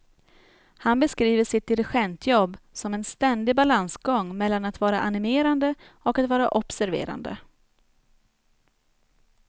Han beskriver sitt dirigentjobb som en ständig balansgång mellan att vara animerande och att vara observerande.